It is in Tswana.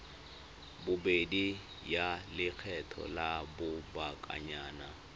bobedi ya lekgetho la lobakanyana